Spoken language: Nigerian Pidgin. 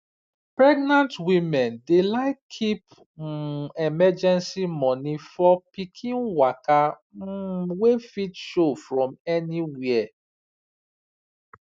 pregenant women dey like keep um emergency money for pikin waka um wey fit show from nowhere